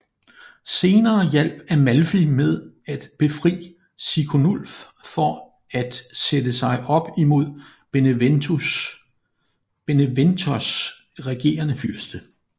Senere hjalp Amalfi med at befri Siconulf for at sætte sig op imod Beneventos regerende fyrste